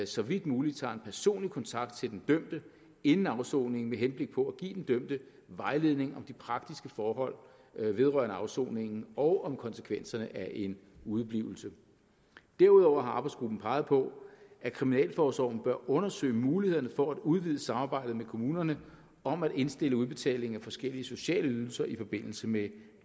så vidt mulig tager personlig kontakt til den dømte inden afsoningen med henblik på at give den dømte vejledning om de praktiske forhold vedrørende afsoningen og om konsekvenserne af en udeblivelse derudover har arbejdsgruppen peget på at kriminalforsorgen bør undersøge mulighederne for at udvide samarbejdet med kommunerne om at indstille udbetaling af forskellige sociale ydelser i forbindelse med